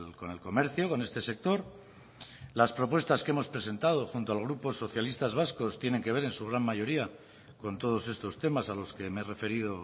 con el comercio con este sector las propuestas que hemos presentado junto al grupo socialista vasco tienen que ver en su gran mayoría con todos estos temas a los que me he referido